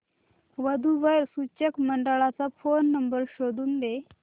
वधू वर सूचक मंडळाचा फोन नंबर शोधून दे